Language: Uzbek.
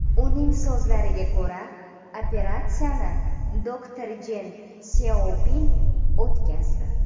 Uning so‘zlariga ko‘ra, operatsiyani doktor Jen Syaopin o‘tkazdi.